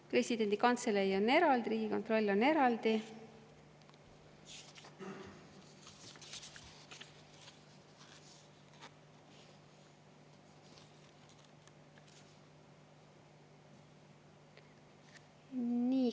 Presidendi kantselei on eraldi, Riigikontroll on eraldi.